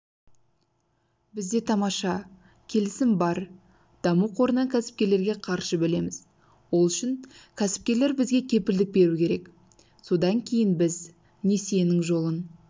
бізде тамаша келісім бар даму қорынан кәсіпкерлерге қаржы бөлеміз ол үшін кәсіпкерлер бізге кепілдік беру керек содан кейін біз несиенің жолын